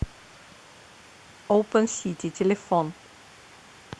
оупен сити телефон